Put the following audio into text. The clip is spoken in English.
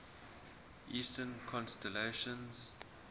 eastern constellations